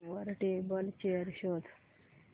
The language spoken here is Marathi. वर टेबल चेयर शोध